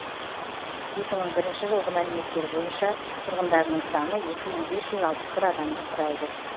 екі мың бірінші жылғы мәліметтер бойынша тұрғындарының саны екі мың бес жүз алпыс бір адамды құрайды